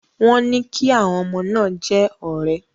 Wọ́n ní kí àwọn ọmọ náà jẹ́ ọ̀rẹ́.